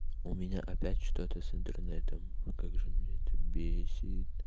у меня опять что-то с интернетом а как же меня это бесит